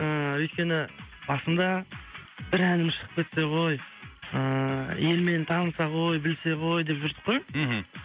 ыыы өйткені басында бір әнім шығып кетсе ғой ыыы ел мені таныса ғой білсе ғой деп жүрдік қой мхм